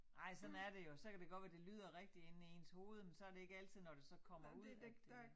Ej sådan er det jo så kan det godt være det lyder rigtigt inde i ens hoved men så det ikke altid når det så kommer ud at det